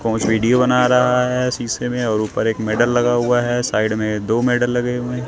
coach video बना रहा है शीशे में और ऊपर एक मेडल लगा हुआ है साइड में दो मेडल लगे हुए--